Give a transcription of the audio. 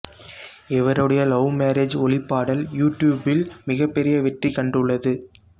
இவருடைய love marriage ஒளிப்பாடல் யூடியூபில் மிகப்பெரிய வெற்றி கண்டுள்ளது